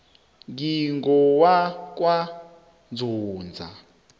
ngingowakwanzunza